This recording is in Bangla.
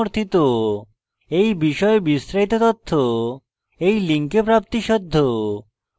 এই বিষয়ে বিস্তারিত তথ্য এই link প্রাপ্তিসাধ্য